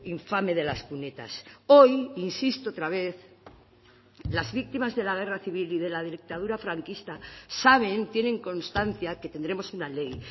infame de las cunetas hoy insisto otra vez las víctimas de la guerra civil y de la dictadura franquista saben tienen constancia que tendremos una ley